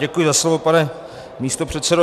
Děkuji za slovo, pane místopředsedo.